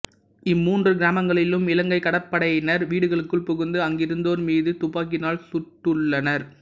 இம்மூன்று கிராமங்களிலும் இலங்கைக் கடற்படயினர் வீடுகளுக்குள் புகுந்து அங்கிருந்தோர் மீது துப்பாக்கிகளால் சுட்டுள்ளனர்